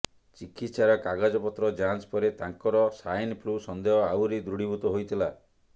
ଚିକିତ୍ସାର କାଗଜପତ୍ର ଯାଞ୍ଚ ପରେ ତାଙ୍କର ସ୍ବାଇନ୍ ଫ୍ଲୁ ସନ୍ଦେହ ଆହୁରି ଦୃଢ଼ୀଭୂତ ହୋଇଥିଲା